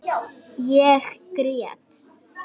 Ég grét.